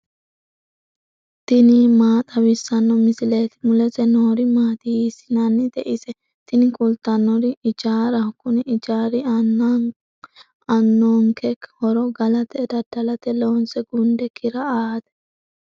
tini maa xawissanno misileeti? mulese noori maati? hiissinannite ise? tini kultannori ijaaraho. kuni ijaari aannonke horo galate daddalate loonse gunde kira aate.